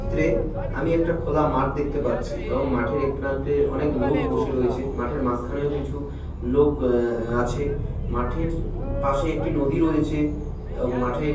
চিত্রে আমি একটা খোলা মাঠ দেখতে পাচ্ছি এবং মাঠের এই প্রান্তে অনেক লোক বসে রয়েছে। মাঠের মাঝখানেও কিছু লোক এ এ আছে। মাঠের উ পাশে একটি নদী রয়েছে এবং মাঠের--